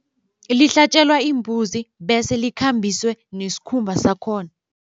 Lihlatjelwa imbuzi bese likhambiswe nesikhumba sakhona.